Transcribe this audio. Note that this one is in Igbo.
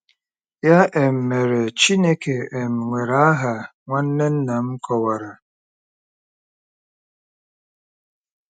Ya um mere, Chineke um nwere aha, nwanne nna m kọwara.